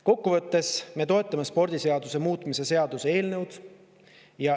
Kokkuvõttes me toetame spordiseaduse muutmise seaduse eelnõu.